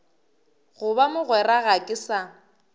goba mogwera ga ke sa